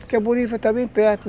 Porque a Bonifá está bem perto.